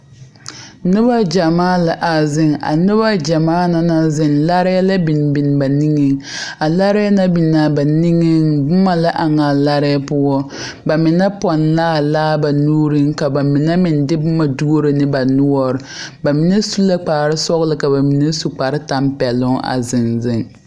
Noba gyɛmaa la a ziŋ a noba gyɛmaa na naŋ ziŋ laare la yɔ biŋ biŋ ba nigeŋ a laare naŋ biŋ a ba nigeŋ boma la eŋ a laare poɔ ba mine pɔnne la a laa ba nuuriŋ ka ba mine meŋ de boma duoro ne ba noɔre ba mine su la kparesɔglɔ ka ba mine su kparetampɛloŋ zeŋ zeŋ.